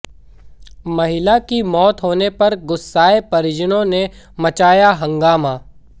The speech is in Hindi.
महिला की मौत होने पर गुस्साएं परिजनों ने मचाया हंगामा